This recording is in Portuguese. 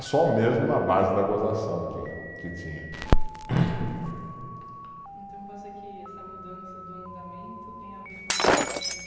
Só mesmo na base da gozação que, que tinha. Então, pode ser que essa mudança do andamento tenha a ver com a quantidade de